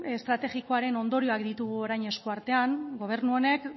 estrategikoaren ondorioak ditugu orain esku artean gobernu honek